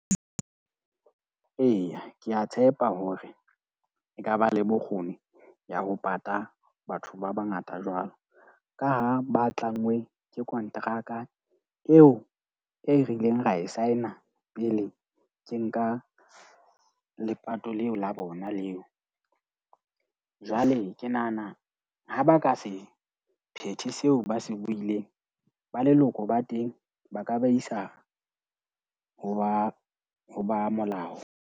Eya, ke a tshepa hore ekaba le bokgoni ya ho pata batho ba bangata jwalo. Ka ha ba tlangwe ke konteraka eo e re ileng ra e sign-a pele ke nka lepato leo la bona leo. Jwale ke nahana ha ba ka se phethe seo ba se ba buileng, ba leloko ba teng ba ka ba isa ho ba ho ba molao.